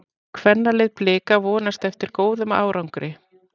Kvennalið Blika vonast eftir góðum árangri